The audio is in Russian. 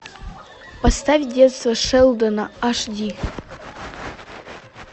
поставь детство шелдона аш ди